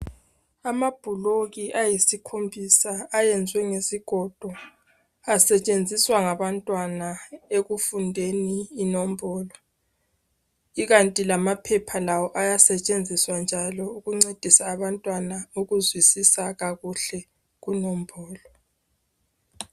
Amabhuloku ayisikhombisa ayenziwe ngezigodo asetshenziswa ngabantwana ekufundeni inombolo. Ikanti lamaphepha lawo ayasetshenziswa njalo ukuncedisa abantwana ukuzwisisa kunombolo.